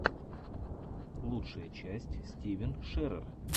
лучшая часть стивен шерер